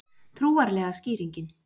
Trúarlega skýringin